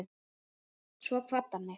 Svo kvaddi hann mig.